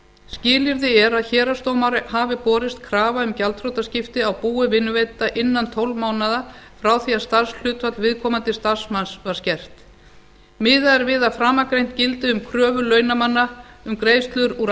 skilyrði er að héraðsdómara hafi borist krafa um gjaldþrotaskipti á búi vinnuveitanda innan tólf mánaða frá því að starfshlutfall viðkomandi starfsmanns var skert miðað er við að framangreint gildi um kröfu launamanna um greiðslur úr